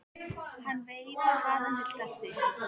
Hann veit hvað hann vill þessi!